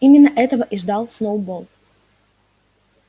именно этого и ждал сноуболл